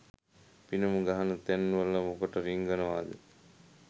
පිනුම් ගහන තැන්වල මොකට රිංගනවද?